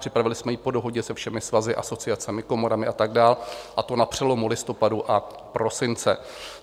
Připravili jsme ji po dohodě se všemi svazy, asociacemi, komorami a tak dále, a to na přelomu listopadu a prosince.